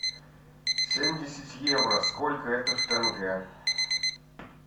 семьдесят евро сколько это в тенге